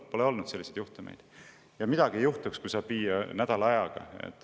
Pole olnud selliseid juhtumeid, ja midagi ei juhtuks, kui tegu oleks nädala ajaga.